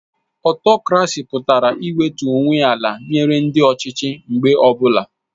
Ọtokrasi pụtara iwetu onwe ala nyere ndị ọchịchị mgbe ọbụla